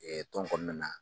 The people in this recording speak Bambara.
Tɔn kɔnɔna